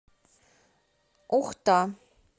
ухта